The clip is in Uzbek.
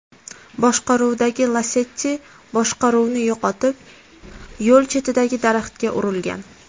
boshqaruvidagi Lacetti boshqaruvni yo‘qotib, yo‘l chetidagi daraxtga urilgan.